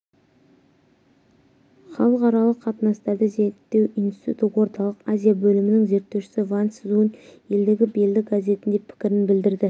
халықаралық қатынастарды зерттеу институты орталық азия бөлімінің зерттеушісі вань цзунь елдегі белді газетінде пікірін білдірді